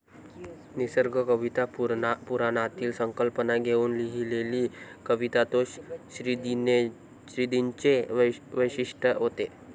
निसर्ग कविता, पुराणातील संकल्पना घेउन लिहिलेली कविता तो 'श्रीदिन'चे वैशिष्ठ्य होते.